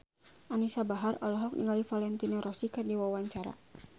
Anisa Bahar olohok ningali Valentino Rossi keur diwawancara